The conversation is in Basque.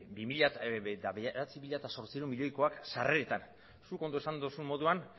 bederatzi mila zortziehun milioikoak sarreretan zuk ondo esan duzu moduan